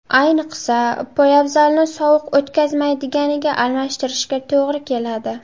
Ayniqsa, poyabzalni sovuq o‘tkazmaydiganiga almashtirishga to‘g‘ri keladi.